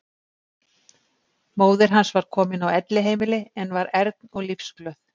Móðir hans var komin á elliheimili en var ern og lífsglöð.